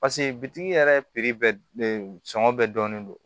paseke bitigi yɛrɛ bɛɛ sɔngɔ bɛɛ dɔnnen don